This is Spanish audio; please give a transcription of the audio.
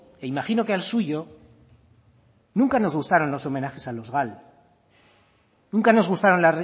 e imagino que al suyo nunca nos gustaron los homenajes a los gal nunca nos gustaron